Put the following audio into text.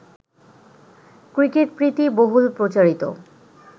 ক্রিকেটপ্রীতি বহুল প্রচারিত